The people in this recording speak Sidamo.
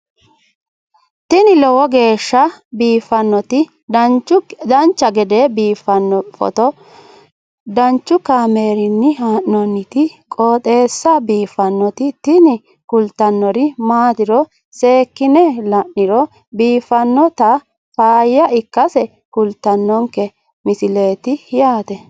tini lowo geeshsha biiffannoti dancha gede biiffanno footo danchu kaameerinni haa'noonniti qooxeessa biiffannoti tini kultannori maatiro seekkine la'niro biiffannota faayya ikkase kultannoke misileeti yaate